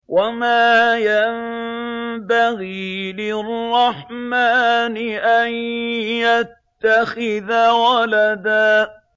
وَمَا يَنبَغِي لِلرَّحْمَٰنِ أَن يَتَّخِذَ وَلَدًا